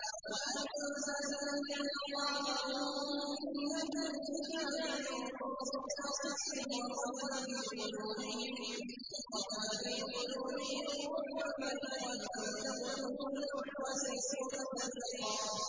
وَأَنزَلَ الَّذِينَ ظَاهَرُوهُم مِّنْ أَهْلِ الْكِتَابِ مِن صَيَاصِيهِمْ وَقَذَفَ فِي قُلُوبِهِمُ الرُّعْبَ فَرِيقًا تَقْتُلُونَ وَتَأْسِرُونَ فَرِيقًا